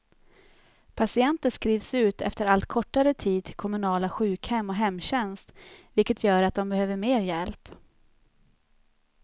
Patienter skrivs ut efter allt kortare tid till kommunala sjukhem och hemtjänst, vilket gör att de behöver mer hjälp.